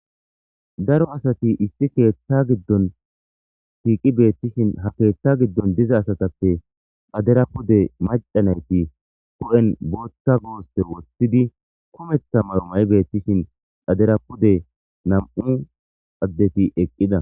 daro asati isti keetta giddon shiiqi beettishin ha keetta giddon diza asatappe dhaderapude macanayti ku7en bootta goospe wothtidi kumetha marumay beettishin xhaderapude nam7u addeti eqqida